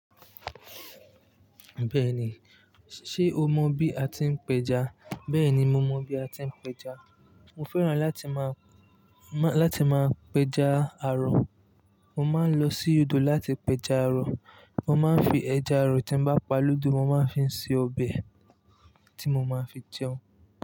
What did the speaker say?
Bẹ́ẹ̀ni, ṣe o mọ bí a ti ń pẹja? Bẹ́ẹ̀ni mo mọ bí a ti ń pẹja. Mo fẹ́ràn láti máa, láti máa pẹja aro. Mo máa ń lọ sí odò láti pẹja arọ. Mo máa ń fi ẹja arọ tí bá pa lódò, mo máa ń fi se ọbẹ̀ tí mo máa ń fi jẹun.